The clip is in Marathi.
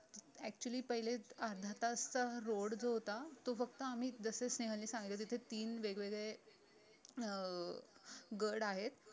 actually पहिले अर्धा तास चा रोड जो होता तो फक्त आम्ही जसे स्नेहल ने सांगितलेले तसे तीन वेगवेगळे अं गड आहेत